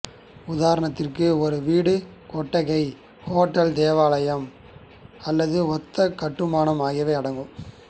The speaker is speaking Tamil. உதாரணத்திற்கு ஒரு வீடு கொட்டகை ஹோட்டல் தேவாலயம் அல்லது ஒத்த கட்டுமானம் ஆகியவை அடங்கும்